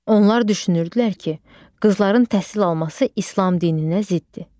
Onlar düşünürdülər ki, qızların təhsil alması İslam dininə ziddir.